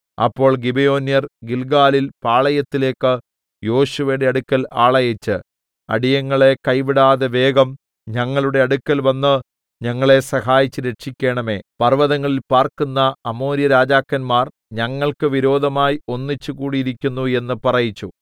അപ്പോൾ ഗിബെയോന്യർ ഗില്ഗാലിൽ പാളയത്തിലേക്ക് യോശുവയുടെ അടുക്കൽ ആളയച്ച് അടിയങ്ങളെ കൈവിടാതെ വേഗം ഞങ്ങളുടെ അടുക്കൽവന്ന് ഞങ്ങളെ സഹായിച്ച് രക്ഷിക്കേണമേ പർവ്വതങ്ങളിൽ പാർക്കുന്ന അമോര്യരാജാക്കന്മാർ ഞങ്ങൾക്ക് വിരോധമായി ഒന്നിച്ച് കൂടിയിരിക്കുന്നു എന്ന് പറയിപ്പിച്ചു